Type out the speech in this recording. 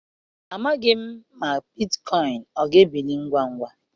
Amaghị m ma bitcoin ga-ebili ngwa ngwa.